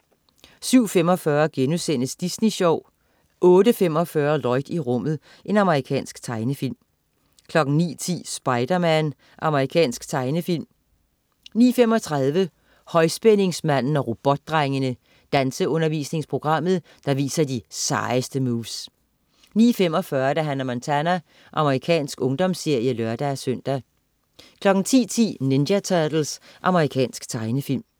07.45 Disney Sjov* 08.45 Lloyd i rummet. Amerikansk tegnefilm 09.10 Spider-Man. Amerikansk tegnefilm 09.35 Højspændingsmanden og Robotdrengene. Danseundervisningsprogrammet, der viser de sejeste moves 09.45 Hannah Montana. Amerikansk ungdomsserie (lør-søn) 10.10 Ninja Turtles. Amerikansk tegnefilm